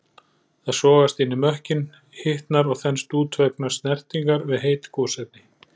Það sogast inn í mökkinn, hitnar og þenst út vegna snertingar við heit gosefni.